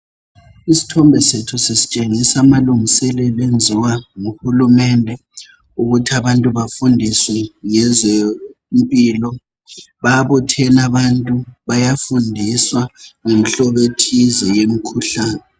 Isithombe sethu sisitshengisa amalungiselelo enziwa nguhulumende ukuthi abantu bafundiswe ngezempilo. Babuthene abantu bayafundiswa ngenhlobo ethize yemkhuhlane.